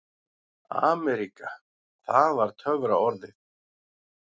AMERÍKA það var töfraorðið.